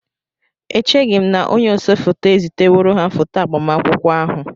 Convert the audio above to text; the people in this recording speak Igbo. Echeghị m na onye ose foto eziteworo ha foto agbamakwụkwọ ahụ